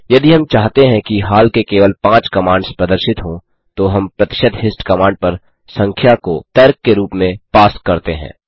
यदि हम चाहते हैं कि हाल के केवल 5 कमांड्स प्रदर्शित हों तो हम प्रतिशत हिस्ट कमांड पर संख्या को तर्क के रूप में पास करते हैं